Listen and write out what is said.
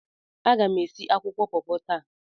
Aga m esi akwụkwọ pọpọ taa.